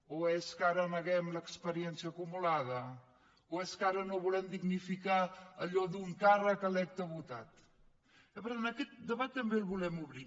o és que ara neguem l’experiència acumulada o és que ara no volem dignificar allò d’un càrrec electe votat i per tant aquest debat també el volem obrir